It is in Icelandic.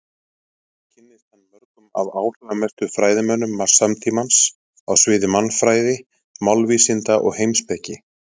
Hér kynntist hann mörgum af áhrifamestu fræðimönnum samtímans á sviði mannfræði, málvísinda og heimspeki.